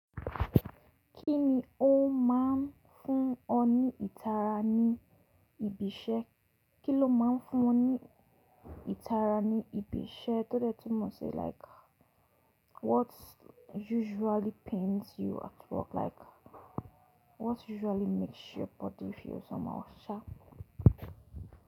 Kíni ó máa ń fún ọ ní ìtara ní ibi iṣẹ́? Kí lọ máa ń fún ọ ní ìtara ní ibi iṣẹ́ tó de túnmọ̀ si like what usually pains you at work like what usually makes your body feel somehow sha?